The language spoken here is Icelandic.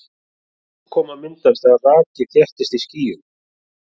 Úrkoma myndast þegar raki þéttist í skýjum.